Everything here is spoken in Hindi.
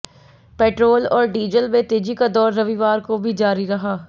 पेट्रोल और डीजल में तेजी का दौर रविवार को भी जारी रहा